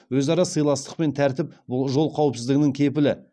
өзара сыйластық пен тәртіп бұл жол қауіпсіздігінің кепілі